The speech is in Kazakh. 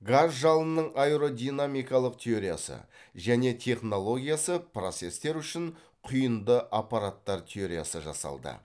газ жалынының аэродинамикалық теориясы және технологиясы процестер үшін құйынды аппараттар теориясы жасалды